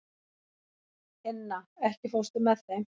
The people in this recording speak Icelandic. Inna, ekki fórstu með þeim?